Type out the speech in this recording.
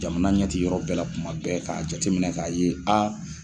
Jamana ɲɛti yɔrɔ bɛɛ la tuma bɛɛ k'a jateminɛ k'a ye a.